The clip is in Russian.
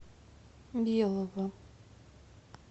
белого